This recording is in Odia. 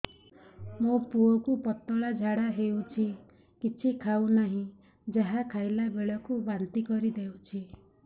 ମୋ ପୁଅ କୁ ପତଳା ଝାଡ଼ା ହେଉଛି କିଛି ଖାଉ ନାହିଁ ଯାହା ଖାଇଲାବେଳକୁ ବାନ୍ତି କରି ଦେଉଛି